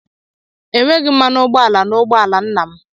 E nweghị mmanụ ụgbọala n'ụgbọ ala nna m.